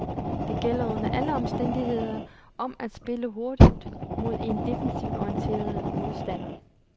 Det gælder under alle omstændigheder om at spille hurtigt mod en defensivt orienteret modstander.